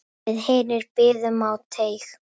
Við hinir biðum á teig.